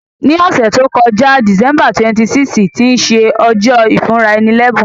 Ní òsẹ̀ to joká, December 26, tí se ojó ìfúnraẹni lẹ́bùn